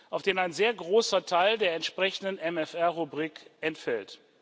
auf den ein sehr großer Teil der entsprechenden MFR Rubrik entfällt.